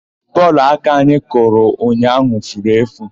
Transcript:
Bọọlụ aka anyị kụrụ ụnyaahụ furu efu.